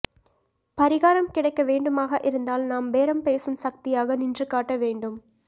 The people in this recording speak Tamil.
பரிகாரம் கிடைக்க வேண்டுமாக இருந்தால் நாம் பேரம்பேசும் சக்தியாக நின்றுகாட்டவேண்டும்